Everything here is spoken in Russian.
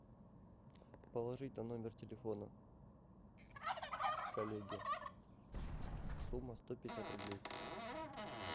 положить на номер телефона коллеге сумма сто пятьдесят рублей